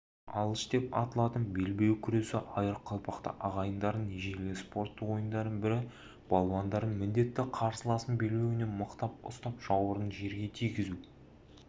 алыш деп аталатын белбеу күресі айыр қалпақты ағайындардың ежелгі спорттық ойындарының бірі балуандардың міндеті қарсыласының белбеуінен мықтап ұстап жауырынын жерге тигізу